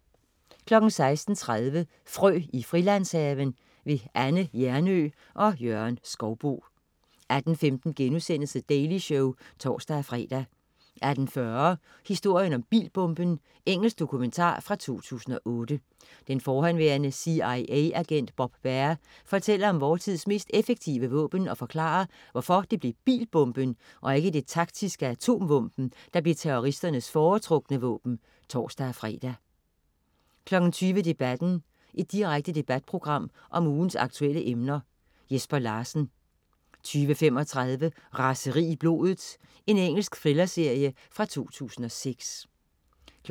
16.30 Frø i Frilandshaven. Anne Hjernøe og Jørgen Skouboe 18.15 The Daily Show* (tors-fre) 18.40 Historien om bilbomben. Engelsk dokumentar fra 2008. Den forhenværende CIA-agent Bob Baer fortæller om vor tids mest effektive våben og forklarer, hvorfor det blev bilbomben og ikke det taktiske atomvåben, der blev terroristernes foretrukne våben (tors-fre) 20.00 Debatten. Direkte debatprogram om ugens aktuelle emner. Jesper Larsen 20.35 Raseri i blodet. Engelsk thrillerserie fra 2006 22.00